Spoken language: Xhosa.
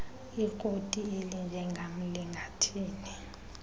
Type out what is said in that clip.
ikroti elinjengam lingathini